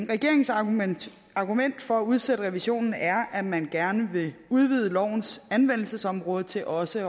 regeringens argument argument for at udsætte revisionen er at man gerne vil udvide lovens anvendelsesområde til også